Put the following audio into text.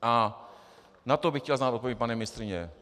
A na to bych chtěl znát odpověď, paní ministryně.